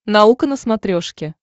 наука на смотрешке